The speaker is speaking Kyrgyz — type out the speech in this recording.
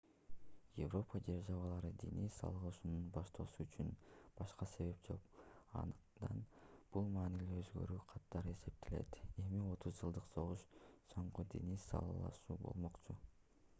европа державалары диний салгылашууну баштоосу үчүн башка себеп жок андыктан бул маанилүү өзгөрүү катары эсептелет эми отуз жылдык согуш соңку диний салгылашуу болмокчу